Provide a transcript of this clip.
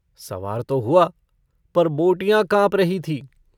सवार तो हुआ पर बोटियाँ काँप रही थीं।